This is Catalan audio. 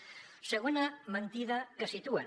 segona mentida que situen